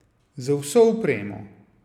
Z vso opremo.